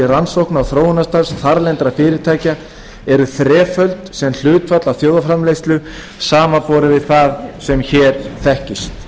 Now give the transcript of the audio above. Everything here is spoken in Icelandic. og þróunarstarfs þarlendra fyrirtækja eru þreföld sem hlutfall af þjóðarframleiðslu samanborið við það sem hér þekkist